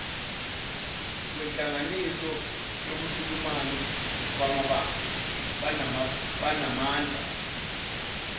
kwenhlanganiso yobusulumani banamandla